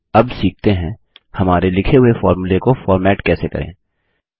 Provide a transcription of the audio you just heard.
अब सीखते हैं हमारे लिखे हुए फोर्मुले को फॉर्मेट कैसे करें